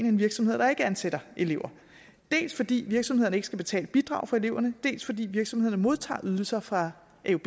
end virksomheder der ikke ansætter elever dels fordi virksomhederne ikke skal betale bidrag for eleverne dels fordi virksomhederne modtager ydelser fra